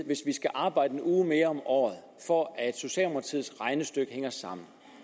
hvis vi skal arbejde en uge mere om året for at socialdemokratiets regnestykke hænger sammen